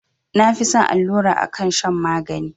Na fi son allura akan shan magani